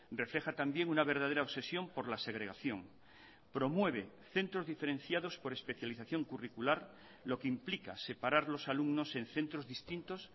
refleja también una verdadera obsesión por la segregación promueve centros diferenciados por especialización curricular lo que implica separar los alumnos en centros distintos